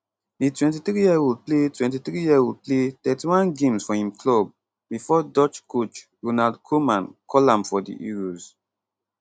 di 23yearold play 23yearold play 31 games for im club bifor dutch coach ronald koeman call am for di euros